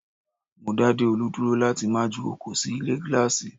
Mó dá Deolu dúró láti má ju oko sì ilé gíláàsì